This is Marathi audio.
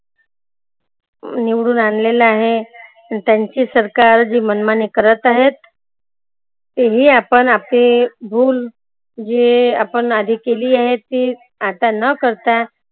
निवडून आनलेलं आहे. त्यांची सरकार जी मनमानी करत आहेत. तेही आपण आपली भूल जे आपण आधी केली आहे. ती आता न करता